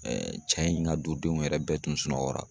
cɛ in ka du denw yɛrɛ bɛɛ tun sunɔgɔra.